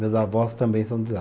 Meus avós também são de lá.